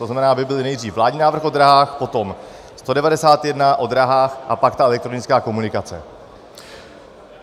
To znamená, aby byly nejdřív vládní návrh o dráhách, potom 191 o dráhách a pak ta elektronická komunikace.